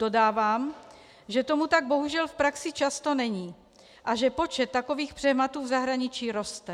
Dodávám, že tomu tak bohužel v praxi často není a že počet takových přehmatů v zahraničí roste.